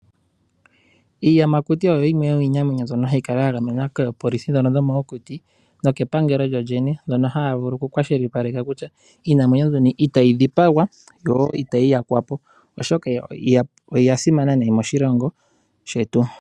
Iiyamakuti oyo iinamwenyo mbyono hayi kala ya gamenwa koopolisi ndhono dhomokuti nokepangelo. Ohaya kwashilipaleke kutya iinamwenyo mbyono itayi dhipagwa yo itayi yakwa po oshoka oya simana nayi moshilongo shetu.